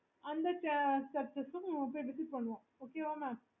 okay